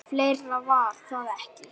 . fleira var það ekki.